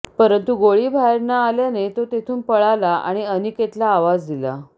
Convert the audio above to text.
परंतु गोळी बाहेर न आल्याने तो तेथून पळला आणि अनिकेतला आवाज दिला